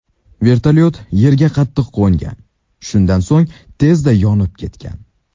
Vertolyot yerga qattiq qo‘ngan, shundan so‘ng tezda yonib ketgan.